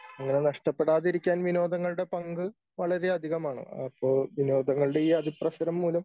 അങ്ങനെ നഷ്ടപ്പെടാതിരിക്കാൻ വിനോദങ്ങളുടെ പങ്ക് വളരെയധികമാണ് അപ്പൊ വിനോദങ്ങളുടെ ഈ അതിപ്രസരം മൂലം